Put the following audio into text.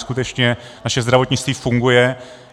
Skutečně naše zdravotnictví funguje.